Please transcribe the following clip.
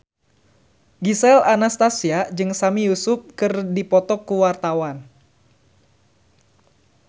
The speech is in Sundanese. Gisel Anastasia jeung Sami Yusuf keur dipoto ku wartawan